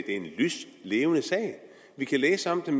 en lyslevende sag vi kan læse om den